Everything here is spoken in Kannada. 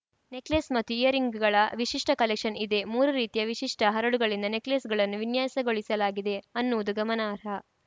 ನೆಕ್‌ಲೇಸ್‌ ಮತ್ತು ಇಯರ್‌ರಿಂಗ್‌ಗಳ ವಿಶಿಷ್ಟಕಲೆಕ್ಷನ್‌ ಇದೆ ಮೂರು ರೀತಿಯ ವಿಶಿಷ್ಟಹರಳುಗಳಿಂದ ನೆಕ್‌ಲೇಸ್‌ಗಳನ್ನು ವಿನ್ಯಾಸಗೊಳಿಸಲಾಗಿದೆ ಅನ್ನುವುದು ಗಮನಾರ್ಹ